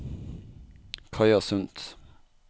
Kaja Sundt